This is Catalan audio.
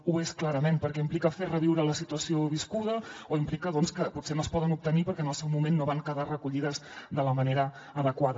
ho és clarament perquè implica fer reviure la situació viscuda o implica que potser no es poden obtenir perquè en el seu moment no van quedar recollides de la manera adequada